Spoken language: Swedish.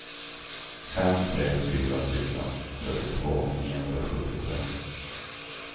fem tre fyra fyra trettiotvå niohundrasjuttiotre